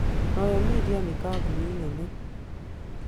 Royal Media nĩ kambuni nene